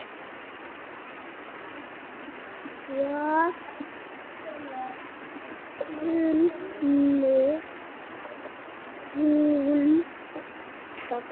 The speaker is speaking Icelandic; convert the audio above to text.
Hvað kunni hún?